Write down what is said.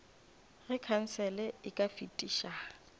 ge khansele e ka fetiša